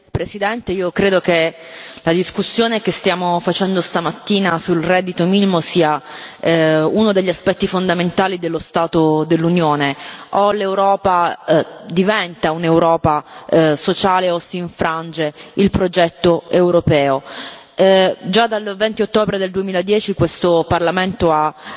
Signor Presidente, onorevoli colleghi, io credo che la discussione che stiamo facendo stamattina sul reddito minimo sia uno degli aspetti fondamentali dello stato dell'Unione o l'Europa diventa un'Europa sociale, o si infrange il progetto europeo. Già dal 20 ottobre 2010, questo Parlamento ha